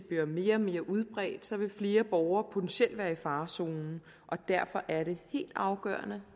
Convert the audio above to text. bliver mere og mere udbredt vil flere borgere potentielt være i farezonen derfor er det helt afgørende